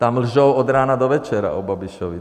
Tam lžou od rána do večera o Babišovi.